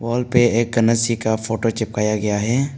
Wall पे एक गणेश जी का फोटो चिपकाया गया है।